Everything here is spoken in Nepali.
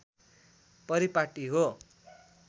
परिपाटी हो